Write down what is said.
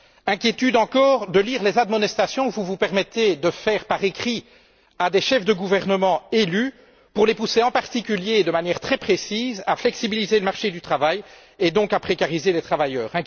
Inquiétude encore de lire les admonestations que vous vous permettez d'adresser, par écrit, à des chefs de gouvernement élus, pour les pousser, en particulier, de manière très précise, à flexibiliser le marché du travail et, donc, à précariser les travailleurs.